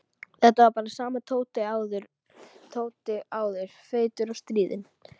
Þetta var bara sami Tóti og áður, feitur og stríðinn.